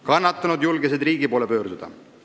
Kannatanud julgesid riigi poole pöörduda.